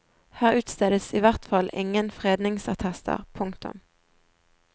Her utstedes i hvert fall ingen fredningsattester. punktum